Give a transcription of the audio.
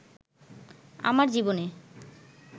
আমার জীবনে